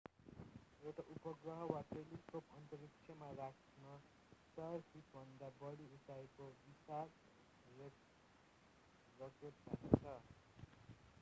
एउटा उपग्रह वा टेलिस्कोप अन्तरिक्षमा राख्न 100 फिटभन्दा बढी उचाइको विशाल रकेट चाहिन्छ